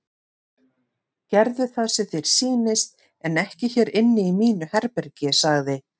Gerðu það sem þér sýnist en ekki hér inni í mínu herbergi sagði